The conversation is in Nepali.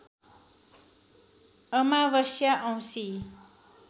अमावस्या औंसी